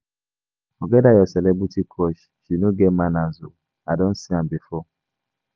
Forget dat your celebrity crush, she no get manners oo. I don see am before